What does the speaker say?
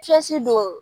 don